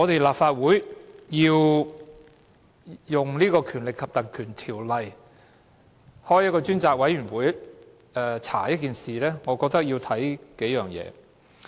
立法會考慮運用《立法會條例》動議議案成立專責委員會來調查一件事時，我認為要視乎數點。